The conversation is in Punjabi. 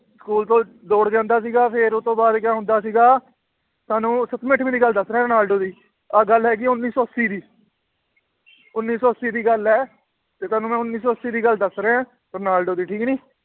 School ਤੋਂ ਦੌੜ ਜਾਂਦਾ ਸੀਗਾ ਫਿਰ ਉਹ ਤੋਂ ਬਾਅਦ ਕਿਆ ਹੁੰਦਾ ਸੀਗਾ ਤੁਹਾਨੂੰ ਸੱਤਵੀਂ ਅੱਠਵੀਂ ਦੀ ਗੱਲ ਦੱਸ ਰਿਹਾਂ ਰੋਨਾਲਡੋ ਦੀ ਆਹ ਗੱਲ ਹੈਗੀ ਹੈ ਉੱਨੀ ਸੌ ਅੱਸੀ ਦੀ ਉੱਨੀ ਸੌ ਅੱਸੀ ਦੀ ਗੱਲ ਹੈ ਤੇ ਤੁਹਾਨੂੰ ਮੈਂ ਉੱਨੀ ਸੌ ਅੱਸੀ ਦੀ ਗੱਲ ਦੱਸ ਰਿਹਾਂ ਰੋਨਾਲਡੋ ਦੀ ਠੀਕ ਨੀ